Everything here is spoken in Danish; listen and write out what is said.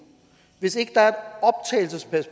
hvis ikke der er